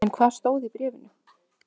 En hvað stóð í bréfinu?